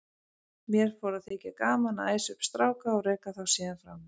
Mér fór að þykja gaman að æsa upp stráka og reka þá síðan frá mér.